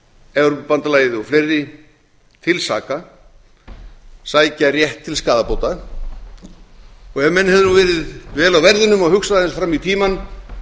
evrópubandalagið og fleiri til saka sækja rétt til skaðabóta ef menn hefðu verið vel á verðinum og hugsað aðeins fram í tímann hefðu